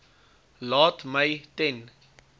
laat my ten